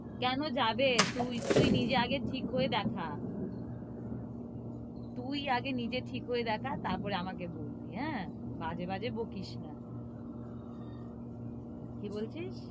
কেন যাবে? তুই, তুই নিজে আগে ঠিক হয়ে দেখা। তুই আগে নিজে ঠিক হয়ে দেখা। তারপরে আমিকে বলবি, হ্যাঁ, বাজে বাজে বকিস না। কি বলছিস?